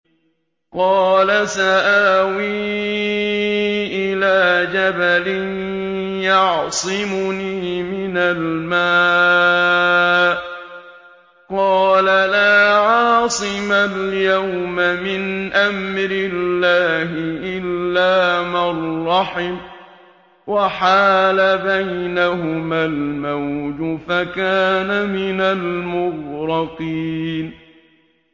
قَالَ سَآوِي إِلَىٰ جَبَلٍ يَعْصِمُنِي مِنَ الْمَاءِ ۚ قَالَ لَا عَاصِمَ الْيَوْمَ مِنْ أَمْرِ اللَّهِ إِلَّا مَن رَّحِمَ ۚ وَحَالَ بَيْنَهُمَا الْمَوْجُ فَكَانَ مِنَ الْمُغْرَقِينَ